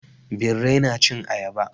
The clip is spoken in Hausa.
Birrai na cin ayaba.